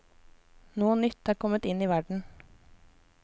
Noe nytt er kommet inn i verden.